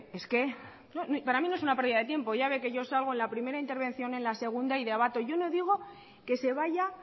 es que para mí no es una pérdida de tiempo ya ve que yo salgo en la primera intervención en la segunda y debato yo no digo que se vaya